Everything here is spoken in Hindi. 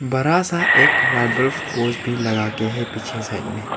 बड़ा सा एक भी लगा के है पीछे साइड में।